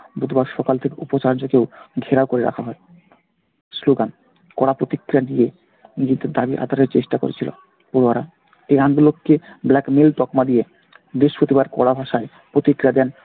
বুধবার সকাল থেকে উপাচার্যকেও ঘেরাও করে রাখা হয়। স্লোগান, করা প্রতিক্রিয়া দিয়ে নিজেদের দাবি আদায়ের চেষ্টা করছিলো । এই আন্দোলনকে black mail তকমা দিয়ে বৃহস্পতিবার করা ভাষায় প্রতিক্রিয়া দেন